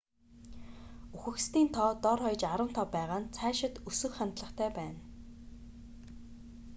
үхэгсдийн тоо дор хаяж 15 байгаа нь цаашид өсөх хандлагатай байна